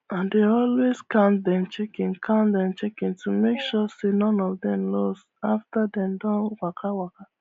i dey always count dem chicken count dem chicken to make sure say none of them lose after dem don waka waka